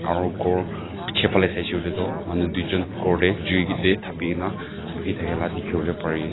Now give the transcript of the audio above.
aro ghor piche phale saishey kuile tu manu duijun ghor deh jui teh thapi na buhithake la dikhiwole pari ase.